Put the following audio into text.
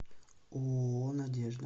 ооо надежда